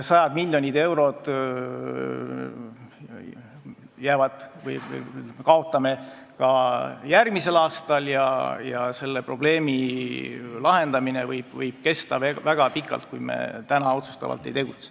Sajad miljonid eurod kaotame ka järgmisel aastal ja selle probleemi lahendamine võib kesta veel väga pikalt, kui me täna otsustavalt ei tegutse.